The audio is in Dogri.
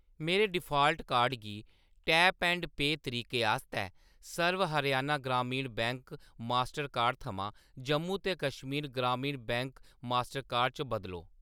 मेरे डिफाल्ट कार्ड गी टैप ऐंड पेऽ तरीके आस्तै Sarva Haryana Gramin bank Mastercard थमां जम्मू ते Kashmir Grameen bank Mastercard च बदलो।